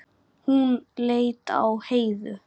Hún leit á Heiðu.